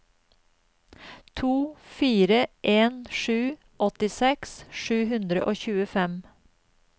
to fire en sju åttiseks sju hundre og tjuefem